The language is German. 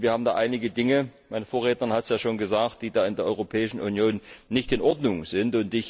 Wir haben da einige Dinge meine Vorrednerin hat es ja schon gesagt die in der Europäischen Union nicht in Ordnung sind.